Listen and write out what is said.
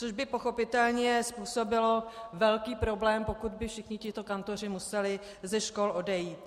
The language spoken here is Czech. Což bych pochopitelně způsobilo velký problém, pokud by všichni tito kantoři museli ze škol odejít.